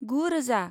गु रोजा